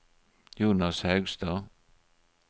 Jonas Haugstad